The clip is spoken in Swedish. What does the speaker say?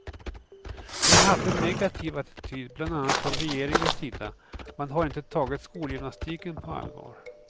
Vi har haft en negativ attityd bland annat från regeringens sida, man har inte tagit skolgymnastiken på allvar.